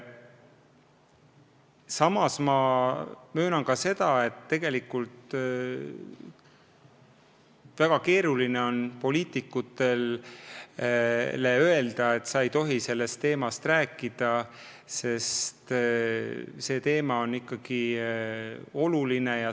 Samas ma möönan, et tegelikult on väga keeruline poliitikutele öelda, et nad ei tohi sellest teemast rääkida, sest see teema on ikkagi oluline.